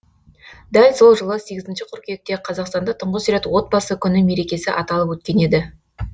дәл сол жылы сегізінші қыркүйекте қазақстанда тұңғыш рет отбасы күні мерекесі аталып өткен еді